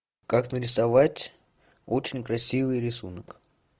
как нарисовать очень красивый рисунок